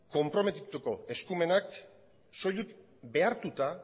konprometitutako eskumenak soilik behartuta